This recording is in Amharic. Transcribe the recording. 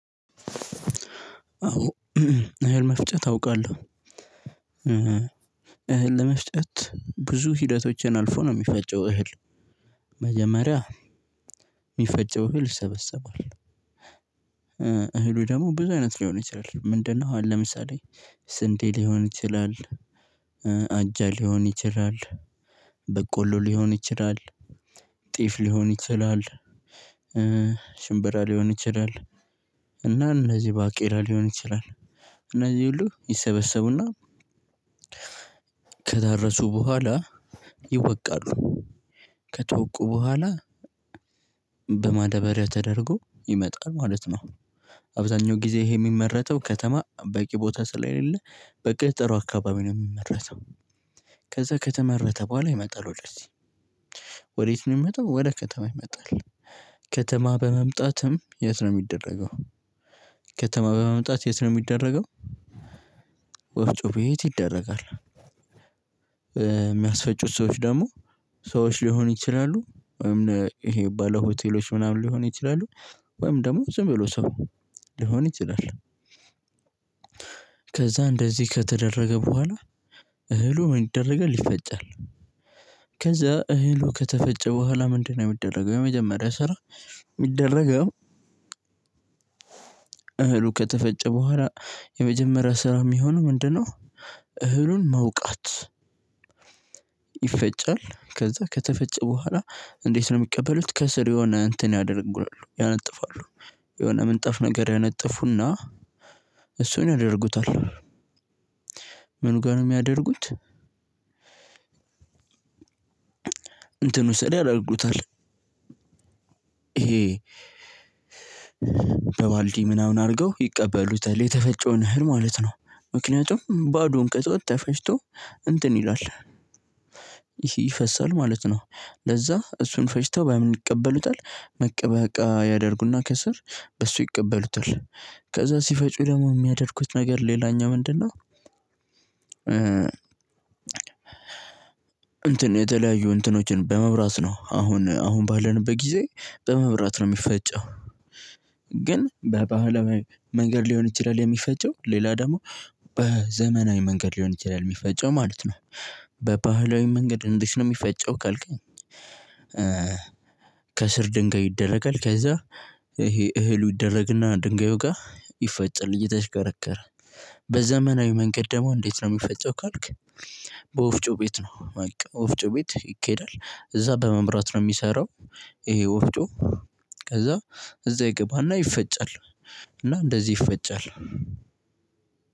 አዎ እህል መፍጨት አውቃለሁ። እህል ለመፍጨት ብዙ ሂደቶችን አልፎ ነው የሚፈጨው እህል። መጀመሪያ የሚፈጨው እህል ይሰበሰባል። እህሉ ደግሞ ብዙ አይነት ሊሆን ይችላል ምንድነው? አሁን ለምሳሌ ስንዴ ሊሆን ይችላል። አጃ ሊሆን ይችላል። በቆሎ ሊሆን ይችላል። ጤፍ ሊሆን ይችላል። ሽንበራ ሊሆን ይችላል። እና እነዚህ ባቄላ ሊሆን ይችላል። እነዚህ ሁሉ ይሰበሰቡና ከደረሱ በኋላ ይወቃሉ። ከተወቁ በኋላ በማደበሪያ ተደርጎ ይመጣል ማለት ነው። አብዛኛው ጊዜ ይሄ የሚመረተው ከተማ በቂ ቦታ ስለሌለ በገጠሩ አካባቢ ነው የሚመረተው። ከዛ ከተመረተ በኋላ ይመጣል ወደዚህ ወዴት? ነው የሚመጣው ወደ ከተማ ይመጣል። ከተማ በመምጣትም የት ነው የሚደረገው? ከተማ በመምጣት የት ነው የሚደረገው? ወፍጮ ቤት ይደረጋል። የሚያስፈጩት ሰዎች ደግሞ ሰዎች ሊሆኑ ይችላሉ ወይም ይሄ ባለሆቴሎች ምናምን ሊሆኑ ይችላሉ። ወይም ደግሞ ዝም ብሎ ሰው ሊሆን ይችላል። ከዛ እንደዚህ ከተደረገ በኋላ እህሉ ምን ይደረጋል ይፈጫል? ከዛ እህሉ ከተፈጨ በኋላ ምንድነው የሚደረገው? የመጀመሪያ ስራ የሚደረገው? እህሉ ከተፈጨ በኋላ የመጀመሪያ ስራ የሚሆነው ምንድነው? እህሉን መውቃት። ይፈጫል ከዛ ከተፈጨ በኋላ እንዴት ነው የሚቀበሉት? ከስር የሆነ እንትን ያደርጋሉ ያነጥፋሉ። የሆነ ምንጠፍ ነገር ያነጥፉና እሱን ያደርጉታል። ምን ጋር ነው የሚያደርጉት? እንትን ስር ያደርጉታል። ይሄ በባልዲ ምናምን አድርገው ይቀበሉታል የተፈጨውን እህል ማለት ነው። ምክንያቱም ባዶውን ከተዉት ተፈጭቶ እንትን ይላል። ይህ ይፈሰል ማለት ነው። ለዛ እሱን ፈጭተው በምን ይቀበሉታል መቀበቃ እቃ ያደርጉና ከስር በሱ ይቀበሉታል። ከዛ ሲፈጩ ደግሞ የሚያደርጉት ነገር ሌላኛው ምንድነው? እንትን የተለያዩ እንትኖችን በመብራት ነው አሁን አሁን ባለንበት ጊዜ በመብራት ነው የሚፈጨው። ግን በባህላዊ መንገድ ሊሆን ይችላል የሚፈጨው ሌላ ደግሞ በዘመናዊ መንገድ ሊሆን ይችላል የሚፈጨው ማለት ነው። በባህላዊ መንገድ እንዴት ነው የሚፈጨው ካልከኝ? ከስር ድንጋይ ይደረጋል ከዛ ይሄ እህሉ ይደረግና ድንጋዩ ጋር ይፈጫል እየተሽከረከረ። በዘመናዊ መንገድ ደግሞ እንዴት ነው የሚፈጨው ካልክ? በወፍጮ ቤት ነው። ወፍጮ ቤት ይኬዳል እዛ በመብራት ነው የሚሰራው። ይሄ ወፍጮ ከዛ እዛ ይገባና ይፈጫል። እና እንደዚህ ይፈጫል።